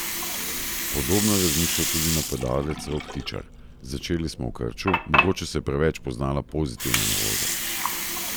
Podobno je razmišljal tudi napadalec Rok Tičar: "Začeli smo v krču, mogoče se je preveč poznala pozitivna nervoza.